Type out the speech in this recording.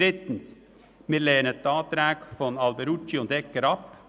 Wir lehnen die Anträge Alberucci und Egger ab.